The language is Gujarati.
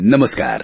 નમસ્કાર